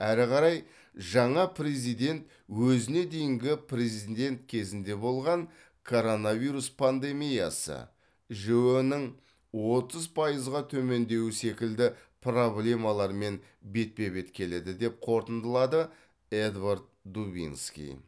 әрі қарай жаңа президент өзіне дейінгі президент кезінде болған коронавирус пандемиясы жіө нің отыз пайызға төмендеуі секілді проблемалармен бетпе бет келеді деп қорытындылады эдвард дубинский